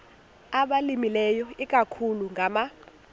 abalimileyo ikakhulu ngama